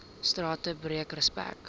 strate breek respek